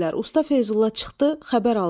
Usta Feyzulla çıxdı, xəbər aldı: